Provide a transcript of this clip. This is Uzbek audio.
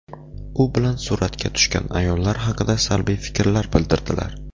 U bilan suratga tushgan ayollar haqida salbiy fikrlar bildirdilar.